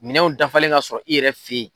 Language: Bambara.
Minɛnw dafalen ka sɔrɔ i yɛrɛ fe yen.